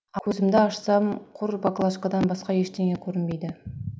көзімді ашсам құр баклажкадан басқа ештеңе көрінбейді